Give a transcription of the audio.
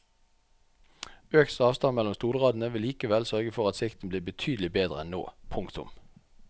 Økt avstand mellom stolradene vil likevel sørge for at sikten blir betydelig bedre enn nå. punktum